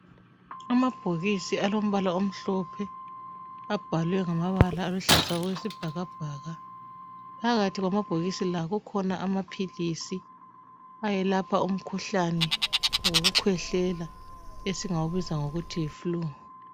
Amabhokisi alombala omhlophe abhalwe ngamabala aluhlaza okwesibhakabhaka phakathi kwamabhokisi la kukhona amaphilisi ayelapha umkhuhlane wokukhwehlela esingawubiza ngokuthi yi fulu.